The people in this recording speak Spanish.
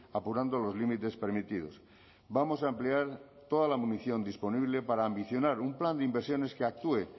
apurando los límites permitidos vamos a ampliar toda la munición disponible para ambicionar un plan de inversiones que actúe